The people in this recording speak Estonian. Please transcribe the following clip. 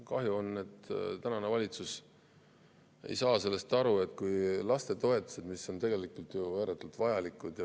Kahju, et tänane valitsus ei saa sellest aru, et lastetoetused ja peretoetused on tegelikult ääretult vajalikud.